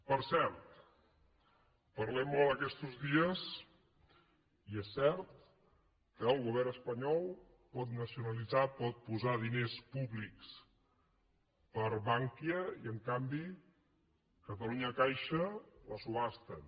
per cert parlem molt aquestos dies i és cert que el govern espanyol pot nacionalitzar pot posar diners públics per a bankia i en canvi catalunya caixa la subhasten